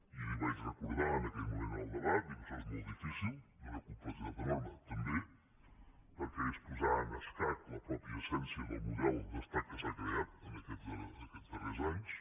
i li vaig recordar en aquell moment del debat això és molt difícil d’una complexitat enorme també perquè és posar en escac la mateixa essència del model d’estat que s’ha creat en aquests darrers anys